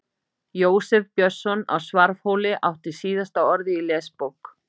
Jósef Björnsson á Svarfhóli átti síðasta orðið í Lesbók